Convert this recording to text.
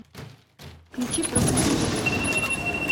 включи проклятые воды